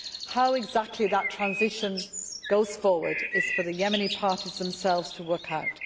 How exactly that transition goes forward is for the Yemeni parties themselves to work out.